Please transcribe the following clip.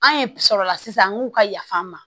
An ye sɔrɔ la sisan an k'u ka yaf'an ma